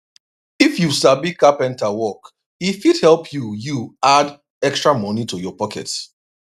if you sabi carpenter work e fit help you you add extra money to your pocket